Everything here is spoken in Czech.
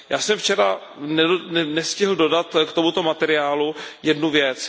Já jsem včera nestihl dodat k tomuto materiálu jednu věc.